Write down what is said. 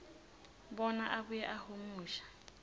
bona abuye ahumushe